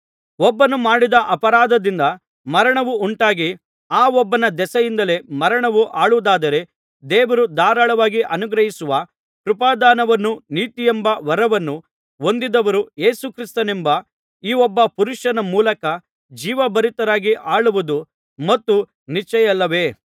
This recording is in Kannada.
ಒಬ್ಬನು ಮಾಡಿದ ಅಪರಾಧದಿಂದ ಮರಣವು ಉಂಟಾಗಿ ಆ ಒಬ್ಬನ ದೆಸೆಯಿಂದಲೇ ಮರಣವು ಆಳುವುದಾದರೆ ದೇವರು ಧಾರಾಳವಾಗಿ ಅನುಗ್ರಹಿಸುವ ಕೃಪಾದಾನವನ್ನೂ ನೀತಿಯೆಂಬ ವರವನ್ನೂ ಹೊಂದಿದವರು ಯೇಸು ಕ್ರಿಸ್ತನೆಂಬ ಈ ಒಬ್ಬ ಪುರುಷನ ಮೂಲಕ ಜೀವಭರಿತರಾಗಿ ಆಳುವುದು ಮತ್ತೂ ನಿಶ್ಚಯವಲ್ಲವೇ